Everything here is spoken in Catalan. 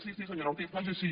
sí sí senyora ortiz faig així